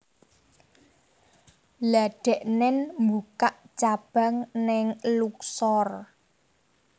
Lha deknen mbukak cabang ning Luxor